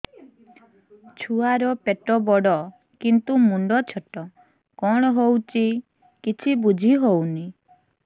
ଛୁଆର ପେଟବଡ଼ କିନ୍ତୁ ମୁଣ୍ଡ ଛୋଟ କଣ ହଉଚି କିଛି ଵୁଝିହୋଉନି